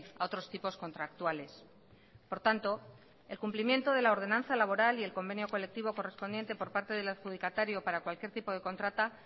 a otros tipos contractuales por tanto el cumplimiento de la ordenanza laboral y el convenio colectivo correspondiente por parte del adjudicatario para cualquier tipo de contrata